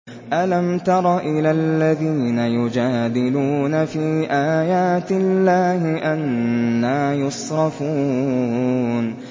أَلَمْ تَرَ إِلَى الَّذِينَ يُجَادِلُونَ فِي آيَاتِ اللَّهِ أَنَّىٰ يُصْرَفُونَ